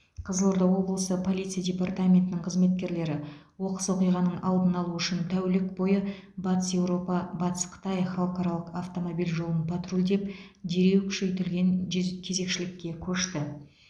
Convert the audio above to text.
қызылорда облысы полиция департаментінің қызметкерлері оқыс оқиғаның алдын алу үшін тәулік бойы батыс еуропа батыс қытай халықаралық автомобиль жолын патрульдеп дереу күшейтілген жүз кезекшілікке көшті